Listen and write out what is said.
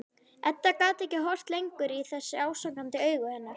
Edda gat ekki horft lengur í þessi ásakandi augu hennar.